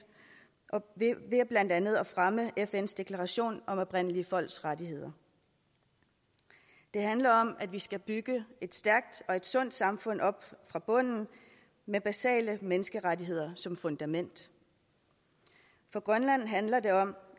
ved blandt andet at fremme fns deklaration om oprindelige folks rettigheder det handler om at vi skal bygge et stærkt og et sundt samfund op fra bunden med basale menneskerettigheder som fundament for grønland handler det om